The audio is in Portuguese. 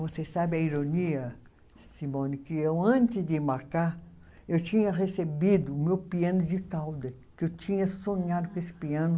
Você sabe a ironia, Simone, que eu, antes de marcar, eu tinha recebido o meu piano de cauda, que eu tinha sonhado com esse piano.